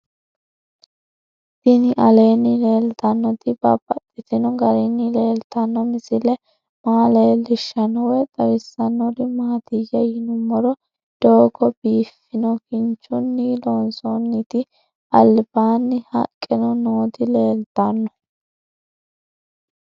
Tinni aleenni leelittannotti babaxxittinno garinni leelittanno misile maa leelishshanno woy xawisannori maattiya yinummoro doogo biiffanno kinchchinni loonsoonnitti alibbanni haqqenno nootti leelittanno